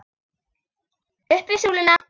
Upp við súluna!